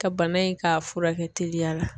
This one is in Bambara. Ka bana in k'a furakɛ teliya la